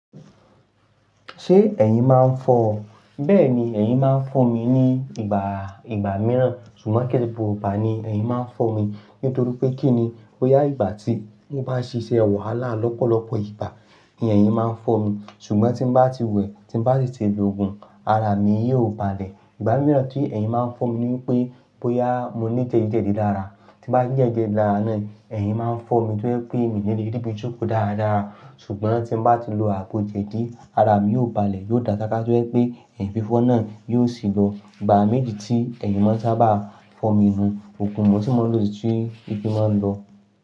Ṣé ẹ̀yin máa ń fọ́ ọ? Bẹ́ẹ̀ni, ẹ̀yin máa ń fọ́ mi ní ìgbà-ìgbà mìíràn. Ṣùgbọ́n kii ṣe gbogbo igba ni ẹ̀yin máa ń fọ́ mi. Nítorí pé kí ni, bóyá ìgbà tí mo bá ṣe iṣẹ́ wàhálà lọ́pọ̀lọpọ̀ ìgbà, ni ẹ̀yin máa ń fọ́ mi. Ṣùgbọ́n tí mo bá ti wẹ̀, tí mo bá sì ti lòògùn, ara mi yóò balẹ̀. Ìgbà mìíràn tí ẹ̀yin máa ń fọ́ mi ni wípé, bóyá mo ní jẹ̀díjẹ̀dí dára. Tí mo bá ti ní jẹ̀díjẹ̀dí lára náà, ẹ̀yin máa ń fọ́ mi tó je pè mí o nílé ríbi jóko dáradára. Ṣùgbọ́n tí mo bá ti lo àgbo jẹ̀dí, ara mi yóò balẹ̀, yóò dá ṣáká tó je pè ẹ̀yin fífọ́ náà yóò sì lọ. Ìgbà méjì tí ẹ̀yin máa ń sábà fọ́ mi nun, òògùn mo sii mo ń si tí ìfí máa ń lọ.